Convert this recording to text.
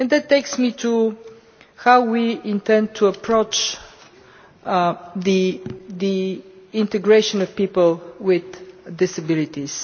That takes me on to how we intend to approach the integration of people with disabilities.